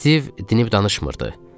Stiv dinib danışmırdı.